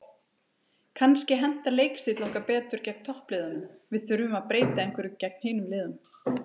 Kannski hentar leikstíll okkar betur gegn toppliðunum, við þurfum að breyta einhverju gegn hinum liðunum.